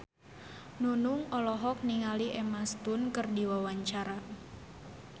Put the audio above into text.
Nunung olohok ningali Emma Stone keur diwawancara